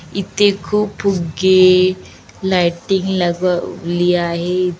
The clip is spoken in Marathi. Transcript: इथे खूप फुग्गे लायटिंग लगवली आहे.